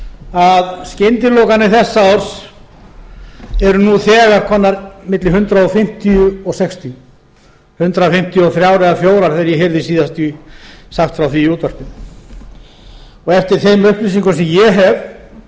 að skyndilokanir þessa árs eru nú þegar komnar milli hundrað fimmtíu og hundrað sextíu hundrað fimmtíu og þrjú eða hundrað fimmtíu og fjögur þegar ég heyrði síðast sagt frá því í útvarpinu eftir þeim upplýsingum sem ég